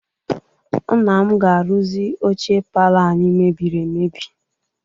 Nna m ga-arụzi oche palọ anyị mebiri emebi.